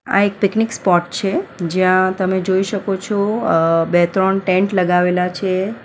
આ એક picnic spot છે જ્યાં તમે જોઈ શકો છો અ બે-ત્રણ ટેન્ટ લગાવેલા છે.